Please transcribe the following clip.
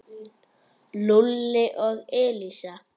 Lúlli og Elísa.